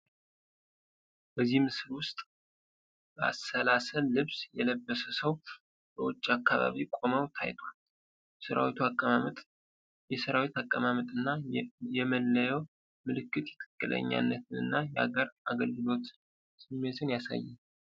በዚህ ምስል ውስጥ በአሰላሰል ልብስ የተለበሰ ሰው በውጭ አካባቢ ቆመው ታይቷል። የሰራዊት አቀማመጥ እና የመለያ ምልክት የትክክለኛነትን እና የአገር አገልግሎት ስሜትን ያሳያል።